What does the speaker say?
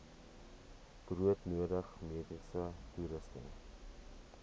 broodnodige mediese toerusting